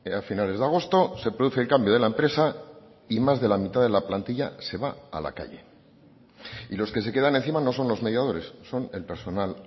a finales de agosto se produce el cambio de la empresa y más de la mitad de la plantilla se va a la calle y los que se quedan encima no son los mediadores son el personal